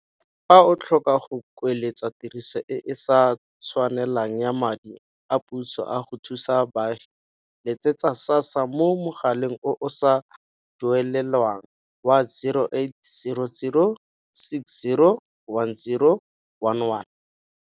Fa o tlhoka go kueletsa tiriso e e sa tshwanelang ya madi a puso a go thusa baagi, letsetsa SASSA mo mogaleng o o sa duelelweng wa 0800 60 10 11.